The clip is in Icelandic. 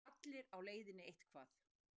Allir á leiðinni eitthvað.